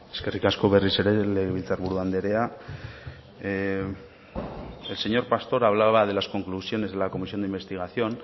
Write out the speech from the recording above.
eskerrik asko berriz ere legebiltzar buru andrea el señor pastor hablaba de las conclusiones de la comisión de investigación